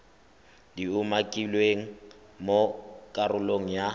di umakilweng mo karolong ya